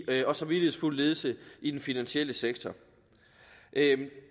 og samvittighedsfuld ledelse i den finansielle sektor